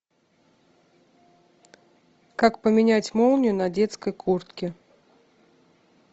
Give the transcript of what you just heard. как поменять молнию на детской куртке